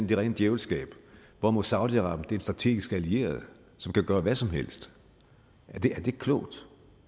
det rene djævelskab hvorimod saudi arabien strategisk allieret som kan gøre hvad som helst er det klogt